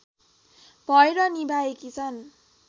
भएर निभाएकी छन्